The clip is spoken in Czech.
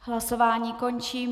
Hlasování končím.